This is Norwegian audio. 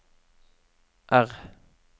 R